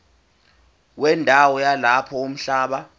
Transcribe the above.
wendawo yalapho umhlaba